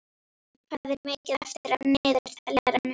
Jamil, hvað er mikið eftir af niðurteljaranum?